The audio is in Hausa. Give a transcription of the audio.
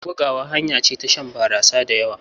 Buguwa hanya ce ta shan barasa da yawa.